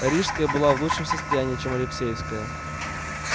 рижская была в лучшем состоянии чем алексеевская